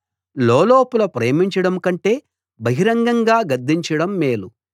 లోలోపల ప్రేమించడం కంటే బహిరంగంగా గద్దించడం మేలు